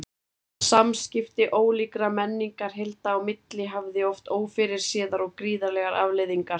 Samskipti ólíkra menningarheilda á milli hafði oft ófyrirséðar og gríðarlegar afleiðingar.